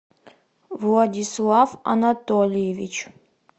владислав анатольевич